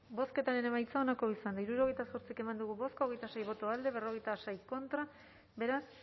bozketaren emaitza onako izan da hirurogeita zortzi eman dugu bozka hogeita sei boto alde cuarenta y seis contra beraz